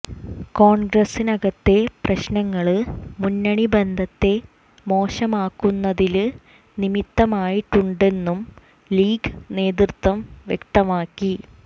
കോണ്ഗ്രസിനകത്തെ പ്രശ്നങ്ങള് മുന്നണി ബന്ധത്തെ മോശമാക്കുന്നതില് നിമിത്തമായിട്ടുണ്ടെന്നും ലീഗ് നേതൃത്വം വ്യക്തമാക്കി